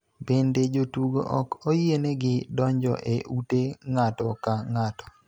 Bende, jotugo ok oyienegi donjo e ute ng�ato ka ng�ato.